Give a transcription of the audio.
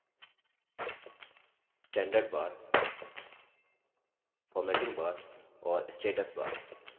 standard bar formatting bar और status बार